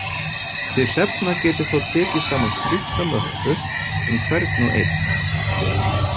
Þið Hrefna getið þá tekið saman stutta möppu um hvern og einn.